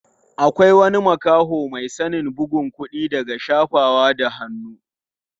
Akwai wani makaho mai sanin bugun kuɗi daga shafawa da hannu.